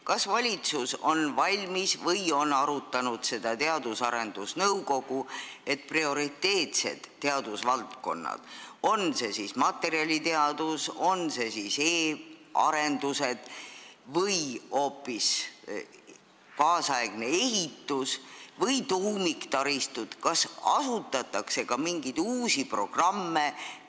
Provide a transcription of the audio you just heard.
Kas valitsus on selleks valmis ja kas Teadus- ja Arendusnõukogu on arutanud, et prioriteetsetes teadusvaldkondades – on see siis materjaliteadus, on see siis e-arendused või hoopis kaasaegne ehitus või tuumiktaristud – tuleks asutada uusi programme?